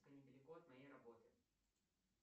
недалеко от моей работы